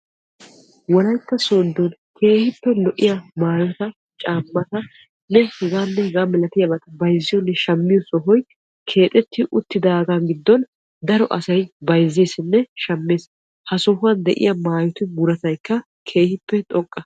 Wolaytta soodon keehippe lo'iya maayota caamatanne h.h. m bayzziyoonne shammiyonne sohoy keexetti uttidaga gidon daro asay bayzzesinne shamees. Ha sohuwan de'iya maayotu muruttaykka keehippe xoqqa.